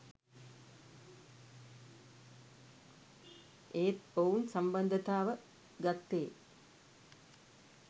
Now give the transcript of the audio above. ඒත් ඔවුන් සම්බන්ධතාව ගත්තේ